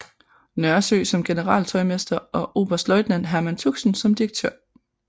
Nørresø som generaltøjmester og oberstløjtnant Herman Tuxen som direktør